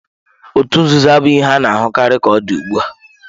Otú nzuzo abụghị ihe a na-ahụkarị ka ọ dị ugbu a.